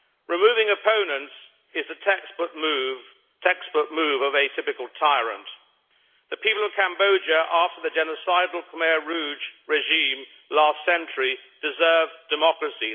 Removing opponents is the text book move of a typical tyrant. The people of Cambodia, after the genocidal Khmer Rouge regime last century deserve democracy